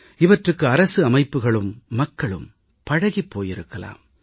இவற்றுக்கு அரசு அமைப்புகளும் மக்களும் பழகிப் போயிருக்கலாம்